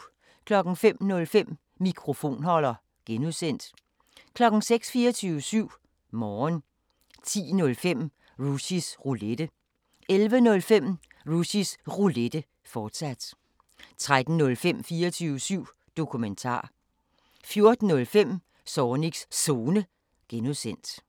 05:05: Mikrofonholder (G) 06:00: 24syv Morgen 10:05: Rushys Roulette 11:05: Rushys Roulette, fortsat 13:05: 24syv Dokumentar 14:05: Zornigs Zone (G)